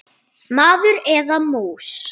Maður eða mús.